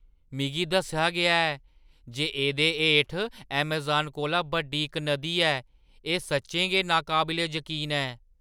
मिगी दस्सेआ गेआ ऐ जे एह्‌दे हेठ अमेज़ान कोला बड्डी इक नदी ऐ। एह्‌ सच्चें गै नाकाबले जकीन ऐ!